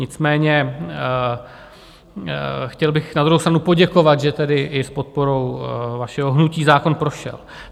Nicméně chtěl bych na druhou stranu poděkovat, že tedy i s podporou vašeho hnutí zákon prošel.